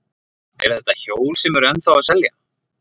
Eru þetta hjól sem eru ennþá að selja?